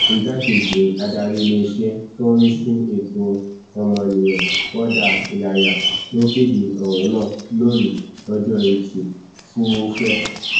igbákejì adarí iléeṣẹ tó ń rí sí ẹtọ ọmọnìyàn rọdà ìlàyà ló kéde ọrọ náà lónìí ọjọ etí furuufee